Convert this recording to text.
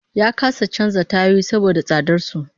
Ya kasa canza tayoyi saboda tsadar su